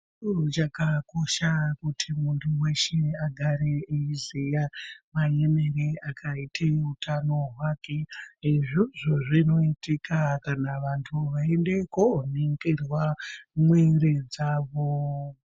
Chiro chakakosha kuti muntu weshe agare eyiziya maemere akaite utano hwake izvozvo zvinoitika kana vantu veiende koningirwa mwiri dzavo